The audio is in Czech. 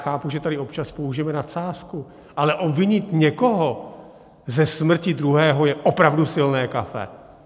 Chápu, že tady občas použijeme nadsázky, ale obvinit někoho ze smrti druhého je opravdu silné kafe.